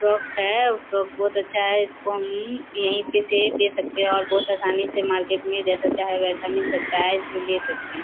Frock है frock बहुत अच्छा है इस को हम यहीं पे से ले सकते है और बहुत आसानी से मार्केट में जैसा चाहें वैसा मिल सकता है इसे ले सकते है।